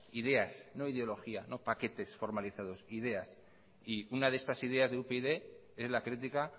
ideas no ideologías no paquetes formalizados ideas y una de estas ideas de upyd es la crítica